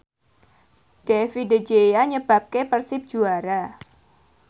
David De Gea nyebabke Persib juara